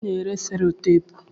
Onye na-ere selotapu?